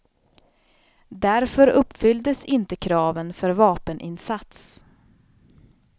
Därför uppfylldes inte kraven för vapeninsats.